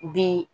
Bi